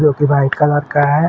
जो कि white colour का है।